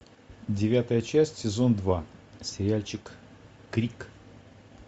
девятая часть сезон два сериальчик крик